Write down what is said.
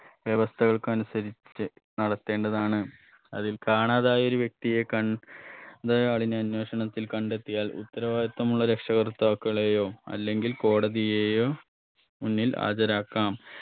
വ്യവസ്ഥകൾക്ക് അനുസരിച്ച് നടത്തേണ്ടതാണ് അതിൽ കാണാതായ ഒരു വ്യക്തിയെ കൺ ണ്ടയാളിന് അന്വേഷണത്തിൽ കണ്ടെത്തിയാൽ ഉത്തരവാദിത്തമുള്ള രക്ഷകർത്താക്കളെയോ അല്ലെകിൽ കോടതിയെയോ മുന്നിൽ ആചരാക്കാം